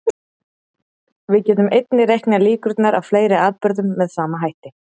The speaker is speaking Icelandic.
Við getum einnig reiknað líkurnar á fleiri atburðum með sama hætti.